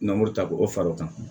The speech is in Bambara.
Namun ta k'o fara o kan